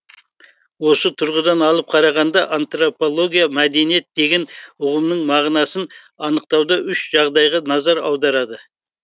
осы тұрғыдан алып қарағанда антропология мәдениет деген ұғымның мағынасын анықтауда үш жағдайға назар аударады